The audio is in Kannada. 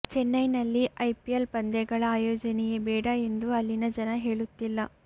ಚೆನ್ನೈನಲ್ಲಿ ಐಪಿಎಲ್ ಪಂದ್ಯಗಳ ಆಯೋಜನೆಯೇ ಬೇಡ ಎಂದು ಅಲ್ಲಿನ ಜನ ಹೇಳುತ್ತಿಲ್ಲ